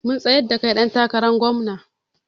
Mun tsayar da kai ɗan takarar gomna